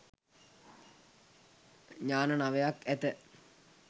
ඥාන නවයක් ඇත.